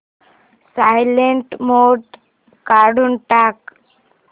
silent mode काढून टाक